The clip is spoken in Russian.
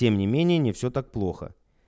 тем не менее не все так плохо